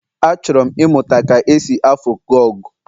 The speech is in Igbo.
Achọrọ m ịmụta ka e si afu goge.